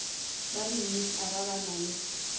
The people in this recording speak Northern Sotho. ba dimmitara ba na le